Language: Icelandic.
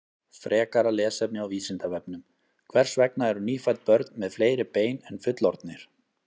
Frekara lesefni á Vísindavefnum: Hvers vegna eru nýfædd börn með fleiri bein en fullorðnir?